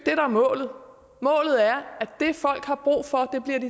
er målet målet er